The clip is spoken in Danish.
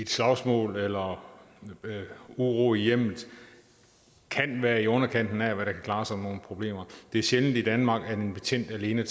slagsmål eller uro i hjemmet kan være i underkanten af hvad der kan klare sådan nogle problemer det er sjældent i danmark at en betjent tager alene